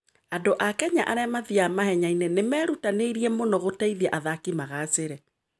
Andũ a Kenya arĩa mathiaga mahenya-inĩ nĩ merutanĩirie mũno gũteithia athaki magaacĩre.